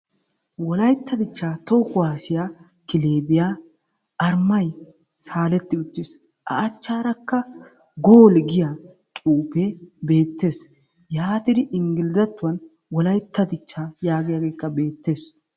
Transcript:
Wolaytta dichca toho kuwassiya kileebiyaa arimay saaletti uttiis; A achchaarakka gooli giyaa xuufe bettees yaatidi inggilizattuwan Wolaytta dichcha yaagiyaagekka bettees.